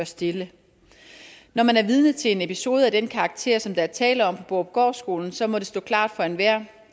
stille når man er vidne til en episode af den karakter som der er tale om på borupgårdskolen så må det stå klart for enhver